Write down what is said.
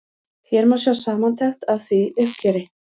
Hér má sjá samantekt af því uppgjöri.